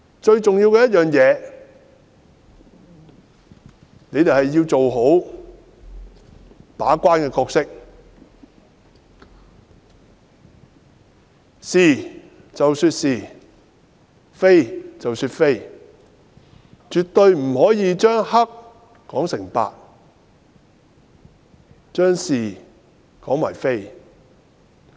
最重要的，是局方要做好把關的角色，是其是、非其非，絕對不可以將黑說成白，將是說成非。